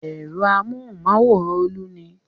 Ẹ̀rọ amóhùmáwòhán Olú ni.